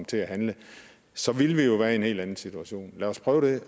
til at handle så ville vi jo være i en helt anden situation lad os prøve